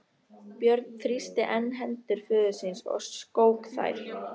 Björn þrýsti enn hendur föður síns og skók þær.